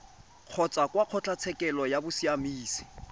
kgotsa kwa kgotlatshekelo ya bosiamisi